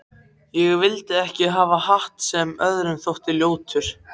Ég vildi ekki hafa hatt sem öðrum þótti ljótur.